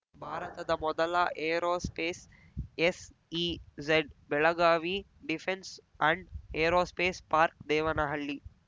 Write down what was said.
ಭಾರತದ ಮೊದಲ aerospace ಎಸ್‌ಇಝಡ್‌ಬೆಳಗಾವಿ defence and aerospace ಪಾರ್ಕ್ದೇವನಹಳ್ಳಿ